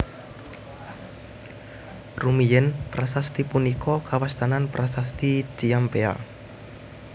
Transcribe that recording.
Rumiyin prasasti punika kawastanan Prasasti Ciampea